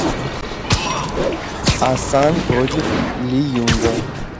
асан против ли юнга